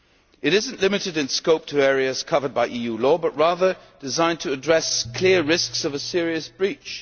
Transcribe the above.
It is not limited in scope to areas covered by EU law, but rather designed to address clear risks of a serious breach.